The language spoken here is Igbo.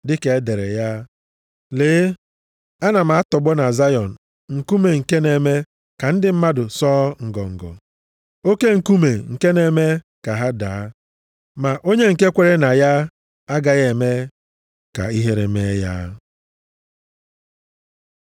Dịka e dere ya, “Lee, ana m atọgbọ na Zayọn nkume nke na-eme ka ndị mmadụ sọọ ngọngọ, oke nkume nke na-eme ka ha daa. Ma onye nke kweere na ya, agaghị eme ka ihere mee ya.” + 9:33 \+xt Aịz 8:14; 28:16\+xt*